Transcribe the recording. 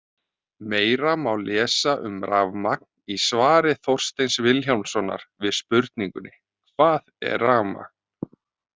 Meira má lesa um rafmagn í svari Þorsteins Vilhjálmssonar við spurningunni Hvað er rafmagn?